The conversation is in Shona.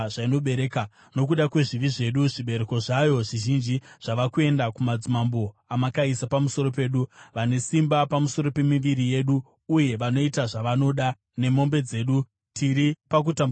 Nokuda kwezvivi zvedu zvibereko zvayo zvizhinji zvava kuenda kumadzimambo amakaisa pamusoro pedu. Vane simba pamusoro pemiviri yedu uye vanoita zvavanoda nemombe dzedu. Tiri pakutambudzika kukuru.